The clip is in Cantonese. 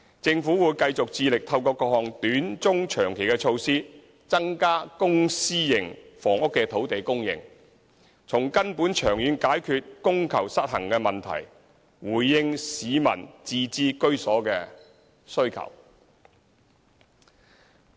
政府會繼續致力透過各項短、中、長期措施增加公私營房屋的土地供應，從根本長遠解決供求失衡的問題，回應市民自置居所的需求。